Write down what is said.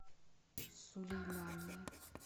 сулеймания